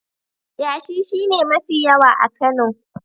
Yashi shi ne mafi yawa a Kano.